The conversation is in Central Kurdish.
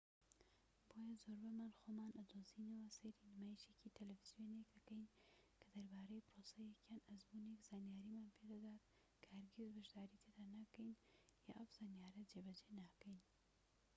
بۆیە زۆربەمان خۆمان ئەدۆزینەوە سەیری نمایشێکی تەلەفزیۆنێک دەکەین کە دەربارەی پرۆسەیەک یان ئەزموونێک زانیاریمان پێدەدات کە هەرگیز بەشداری تێدا ناکەین یان ئەو زانیاریە جێبەجێ ناکەین